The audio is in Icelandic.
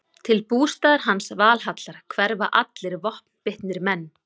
Til bústaðar hans, Valhallar, hverfa allir vopnbitnir menn.